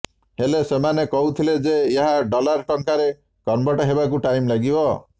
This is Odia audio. ହେଲେ ସେମାନେ କହୁଥିଲେ ଯେ ଏହା ଡଲାର୍ ଟଙ୍କାରେ କନ୍ଭର୍ଟ ହେବାକୁ ଟାଇମ୍ ଲାଗିବ